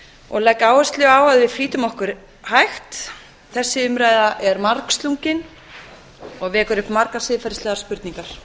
og legg áherslu á að við flýtum okkur hægt þessi umræða er margslungin og vekur upp margar siðferðislegar spurningar